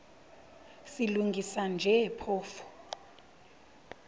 silungisa nje phofu